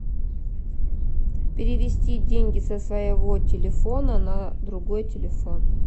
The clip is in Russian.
перевести деньги со своего телефона на другой телефон